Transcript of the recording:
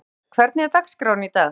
Arnfríður, hvernig er dagskráin í dag?